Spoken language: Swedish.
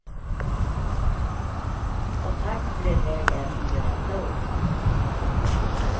Och takten blir hög även under detta året.